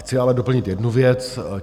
Chci ale doplnit jednu věc.